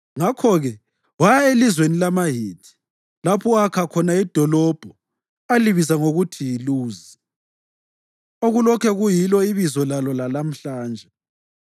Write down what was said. Ngakho-ke waya elizweni lamaHithi, lapho akha khona idolobho alibiza ngokuthi yiLuzi, okulokhe kuyilo ibizo lalo lalamhlanje.